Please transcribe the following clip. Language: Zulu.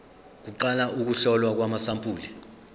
kuqala ukuhlolwa kwamasampuli